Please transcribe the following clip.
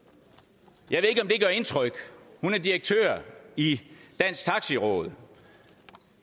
jeg det gør indtryk hun er direktør i dansk taxi råd